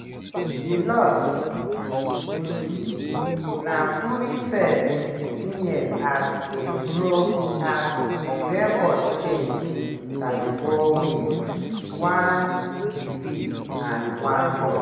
di loss to usyk na fury first in 16 years as a pro as im record change to 34 wins one defeat and one draw.